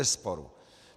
Bezesporu.